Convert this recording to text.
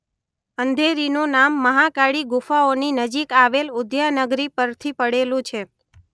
અંધેરીનું નામ મહાકાળી ગુફાઓની નજીક આવેલ ઉદ્યાનગરી પરથી પડેલું છે.